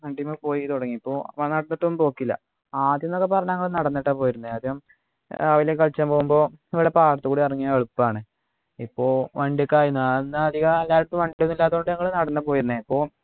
വണ്ടിമ്മെ പോയി തുടങ്ങിയപ്പോ ഒന്നും പോക്കില്ല ആദ്യം ന്നൊക്കെ പറഞ്ഞാൽ നമ്മള് നടന്നിട്ടാ പോയിരുന്ന് ആദ്യം രാവിലെ കളിയ്ക്കാൻ പോകുമ്പോ മ്മളെ പാടത്തോകുടെ ഇറങ്ങിയാൽ എളുപ്പമാണ് ഇപ്പൊ വണ്ടി ഒക്കെ ആയി ഞാനന്ന് അധിക കാലത്തും വണ്ടിയൊന്നും ഇല്ലാത്തത്കൊണ്ട് നമ്മള് നടന്നാ പോയിരുന്ന് അപ്പൊ